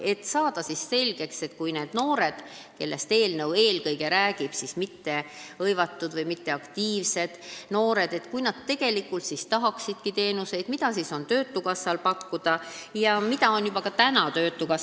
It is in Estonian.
Taheti saada selgust, et kui mittehõivatud või mitteaktiivsed noored, kellest eelnõu eelkõige räägib, tegelikult tahaksid teenuseid, siis mida on töötukassal neile juba praegu pakkuda.